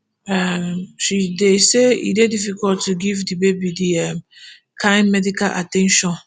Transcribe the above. um she say e dey difficult to give di baby di um kain medical at ten tion